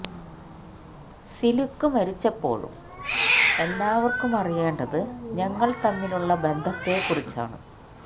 സിലുക്ക് മരിച്ചപ്പോഴും എല്ലാവര്ക്കും അറിയേണ്ടത് ഞങ്ങള് തമ്മിലുള്ള ബന്ധത്തെ കുറിച്ചാണ്